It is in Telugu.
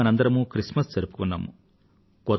ఇప్పుడే మనందరమూ క్రిస్మస్ జరుపుకొన్నాం